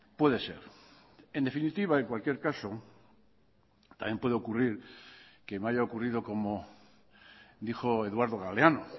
puede ser en definitiva en cualquier caso también puede ocurrir que me haya ocurrido como dijo eduardo galeano